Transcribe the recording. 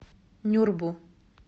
нюрбу